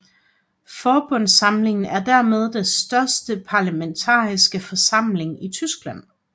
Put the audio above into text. Forbundsforsamlingen er dermed den største parlamentariske forsamling i Tyskland